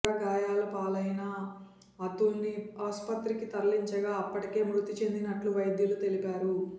తీవ్ర గాయాల పాలైన అతుల్ను ఆసుపత్రికి తరలించగా అప్పటికే మృతి చెందినట్టు వైద్యులు తెలిపారు